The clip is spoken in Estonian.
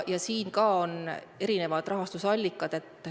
Ka siin on erinevad rahastusallikad.